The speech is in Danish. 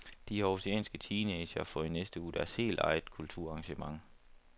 De århusianske teenagere får i næste uge deres helt eget kulturarrangement.